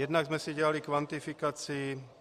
Jednak jsme si dělali kvantifikaci.